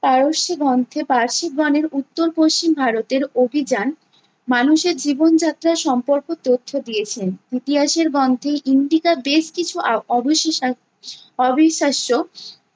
পারস্যি গন্থে পারসিক গণের উত্তর-পশ্চিম ভারতের অভিযান, মানুষের জীবনযাত্রা সম্পর্ক তথ্য দিয়েছেন। ইতিহাসের গন্থে ইন্ডিকা বেশ কিছু আ~ অবিশ্বাস্য